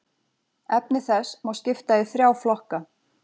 Efni þess má skipta í þrjá flokka.